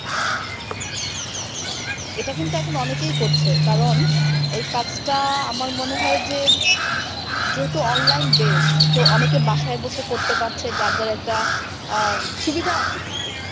এটা কিন্তু এখন অনেকেই করছে কারণ এই কাজটা আমার মনে হয় যে যেহেতু online based তো অনেকে বাসায় বসে করতে পারছে যার যার একটা আহ সুবিধা আছে কিন্তু।